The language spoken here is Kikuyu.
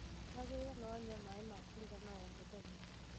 Tigagĩrĩra nĩwanyua maĩ ma kũigana o mũthenya